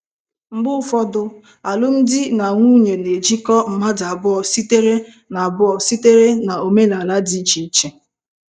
Mgbe ụfọdụ, alụmdi na nwunye na-ejikọta mmadụ abụọ sitere na abụọ sitere na omenala dị iche iche.